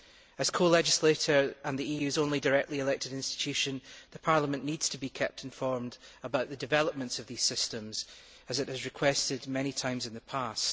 As co legislator and the EU's only directly elected institution, Parliament needs to be kept informed about the developments of these systems, as it has requested many times in the past.